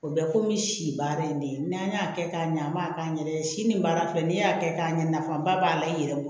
O bɛ komi si baara in de ye n'an y'a kɛ k'a ɲa an m'a k'an yɛrɛ ye si nin baara filɛ nin y'a kɛ k'a ɲɛ nafaba b'a la i yɛrɛ bolo